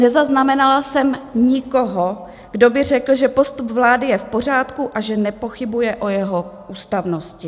Nezaznamenala jsem nikoho, kdo by řekl, že postup vlády je v pořádku a že nepochybuje o jeho ústavnosti.